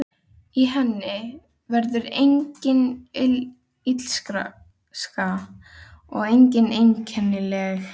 Í henni verður engin illska og engin einkennilegheit.